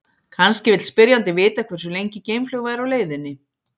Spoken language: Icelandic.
kannski vill spyrjandinn vita hversu lengi geimflaug væri á leiðinni